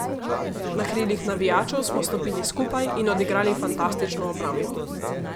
Na krilih navijačev smo stopili skupaj in odigrali fantastično obrambo.